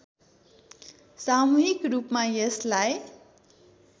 सामूहिक रूपमा यसलाई